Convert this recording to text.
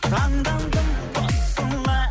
таңдандым тосыла